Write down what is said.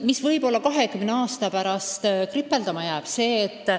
Mis võib-olla kahekümne aasta pärast kripeldama on jäänud?